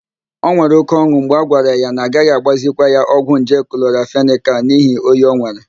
O nwere óké ọn̄ụ mgbe a gwara ya na agaghị agbazikwa ya ọgwụ nje klọramfenịkal n'ihi oyi o nwere.